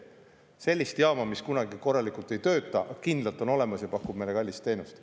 Selliseid jaamu, mis kunagi korralikult ei tööta, aga on kindlalt olemas ja pakuvad meile kallist teenust.